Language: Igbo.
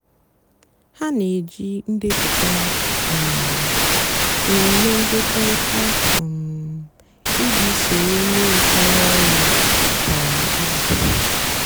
hà nà-èjí ndepụta um nlele nkekọrịta um íjì sóró ónyé rùchárá ọrụ kwá ízú.